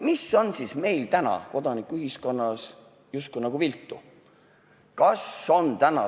Mis on siis meil täna kodanikuühiskonnas justkui nagu viltu?